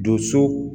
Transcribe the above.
Doso